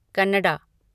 Kannada